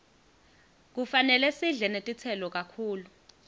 kufanele sidle netitselo kakhulu